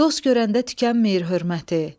Dost görəndə tükənməyir hörməti.